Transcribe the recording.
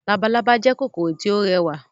Labalábá jẹ́ kòkòrò tí ó rẹwà